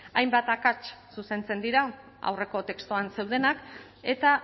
hainbat akats zuzentzen dira aurreko testuan zeudenak eta